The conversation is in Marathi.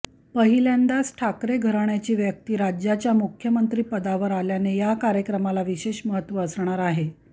पहिल्यांदाच ठाकरे घराण्याची व्यक्ती राज्याच्या मुख्यमंत्रिपदावर आल्याने या कार्यक्रमाला विशेष महत्त्व असणार आहे